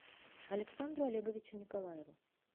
александру олеговичу николаеву